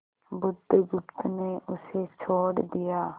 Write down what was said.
बुधगुप्त ने उसे छोड़ दिया